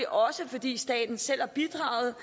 også fordi staten selv har bidraget